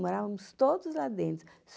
Morávamos todos lá dentro.